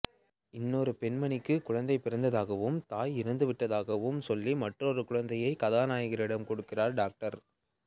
இன்னொரு பெண்மணிக்கு குழந்தை பிறந்ததாகவும் தாய் இறந்து விட்டதாகவும் சொல்லி மற்றொரு குழந்தையை கதாநாயகனிடம் கொடுக்கிறார் டாக்டர்